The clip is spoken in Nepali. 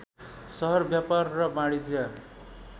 सहर व्यापार र वाणिज्य